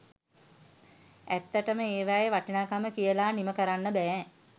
ඈත්තටම ඒවයෙ වටිනාකම කියලා නිම කරන්න බෑ